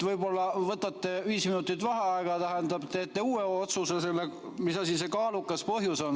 Võib-olla võtate viis minutit vaheaega ja teete uue otsuse, mis asi see kaalukas põhjus on.